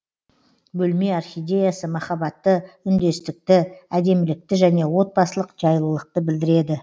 бөлме орхидеясы махаббатты үндестікті әдемілікті және отбасылық жайлылықты білдіреді